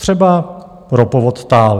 Třeba ropovod TAL.